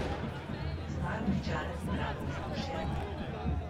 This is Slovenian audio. Znajo pričarati pravo vzdušje?